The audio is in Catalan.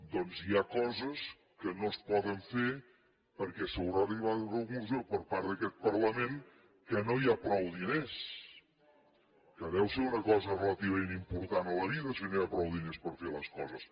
doncs hi ha coses que no es poden fer perquè s’haurà arribat a la conclusió per part d’aquest parlament que no hi ha prou diners que deu ser una cosa relativament important a la vida si no hi ha prou diners per fer les coses